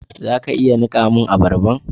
Za ka iya nika mun abarban?